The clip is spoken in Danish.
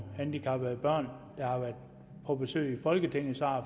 handicappede børn som har været på besøg i folketinget